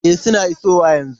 E, suna isowa yanzu.